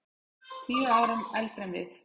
Tíu árum eldri en við.